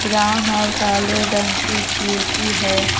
Brown और काले रंग की पी_ओ_पी है।